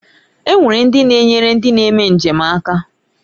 E nwere ndi na-enyere ndi na-eme njem aka.